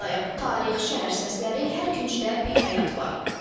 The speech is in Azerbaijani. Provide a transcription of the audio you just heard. Tarix, şəhər səsləri, hər küncdə bir həyat var.